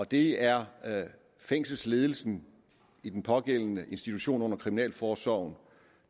det er fængselsledelsen i den pågældende institution under kriminalforsorgen